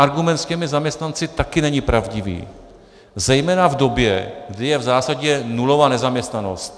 Argument s těmi zaměstnanci taky není pravdivý, zejména v době, kdy je v zásadě nulová nezaměstnanost.